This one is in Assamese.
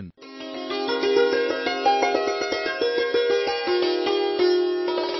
সকলো এনচিচি কেডেটঃ জয় হিন্দ মহাশয়